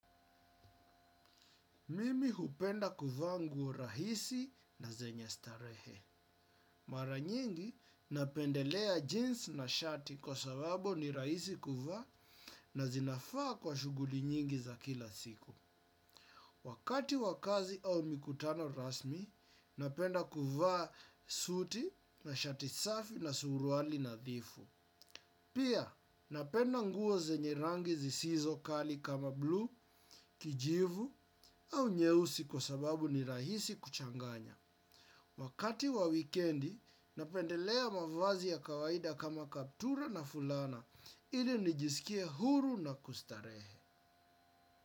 Mimi hupenda kuvaa nguo rahisi na zenye starehe. Mara nyingi napendelea jeans na shati kwa sababu ni rahisi kuvaa na zinafaa kwa shuguli nyingi za kila siku. Wakati wa kazi au mikutano rasmi, napenda kuvaa suti na shati safi na suruali nadhifu. Pia, napenda nguo zenye rangi zisizo kali kama bluu, kijivu au nyeusi kwa sababu ni rahisi kuchanganya. Wakati wa wikendi, napendelea mavazi ya kawaida kama kaptura na fulana, ili nijiskie huru na kustarehe.